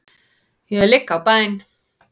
Ég ligg á bæn.